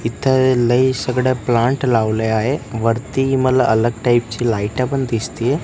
इथं लई सगळ्या प्लांट लावले आहे. वरती मला अलग टाईप ची लाइटा पण दिसतीयं.